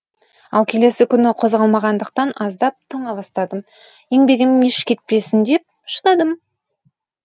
ал келесі күні қозғалмағандықтан аздап тоңа бастадым еңбегім еш кетпесін деп шыдадым